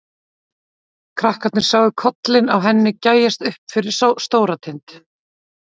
Krakkarnir sáu kollinn á henni gægjast upp fyrir Stóratind.